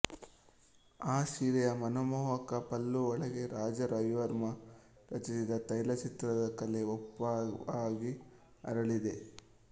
ಆ ಸೀರೆಯ ಮನಮೋಹಕ ಪಲ್ಲು ಒಳಗೆ ರಾಜಾ ರವಿವರ್ಮ ರಚಿಸಿದ ತೈಲಚಿತ್ರದ ಕಲೆ ಒಪ್ಪವಾಗಿ ಅರಳಿದೆ